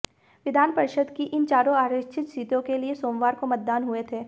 विधान परिषद की इन चारों आरक्षित सीटों के लिए सोमवार को मतदान हुए थे